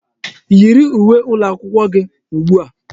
Yiri uwe ụlọakwụkwọ gị ugbu a!